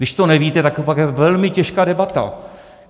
Když to nevíte, tak to pak je velmi těžká debata.